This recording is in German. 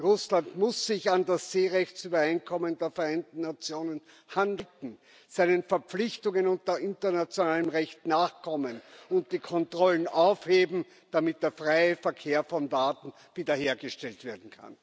Russland muss sich an das Seerechtsübereinkommen der Vereinten Nationen halten, seinen Verpflichtungen unter internationalem Recht nachkommen und die Kontrollen aufheben, damit der freie Verkehr von Waren wiederhergestellt werden kann.